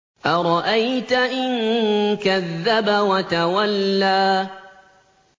أَرَأَيْتَ إِن كَذَّبَ وَتَوَلَّىٰ